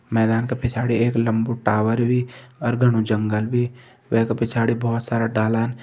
मैदान के पिछाड़ी एक लम्बू टावर भी ओर घनु जंगल भी वे का पिछाड़ी बहोत सारा डालान।